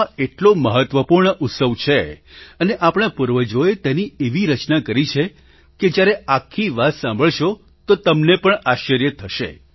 આ એટલો મહત્વપૂર્ણ ઉત્સવ છે અને આપણા પૂર્વજોએતેની એવી રચના કરી છે કે જ્યારે આખી વાત સાંભળશો તો તમને પણ આશ્ચર્ય થશે